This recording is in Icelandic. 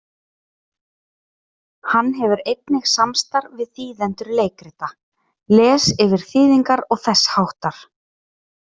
Hann hefur einnig samstarf við þýðendur leikrita, les yfir þýðingar og þess háttar.